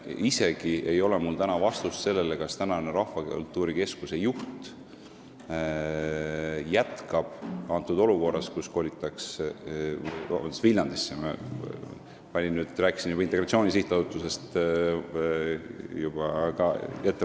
Mul ei ole isegi vastust küsimusele, kas praegune Rahvakultuuri Keskuse juht jätkab olukorras, kus kolitakse – palun vabandust, ma rääkisin etteruttavalt juba Integratsiooni Sihtasutusest – Viljandisse.